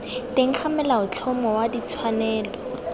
teng ga molaotlhomo wa ditshwanelo